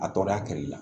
A tɔɔrɔya kɛli la